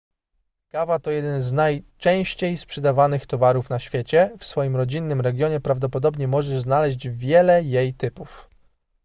kawa to jeden z najczęściej sprzedawanych towarów na świecie w swoim rodzinnym regionie prawdopodobnie możesz znaleźć wiele jej typów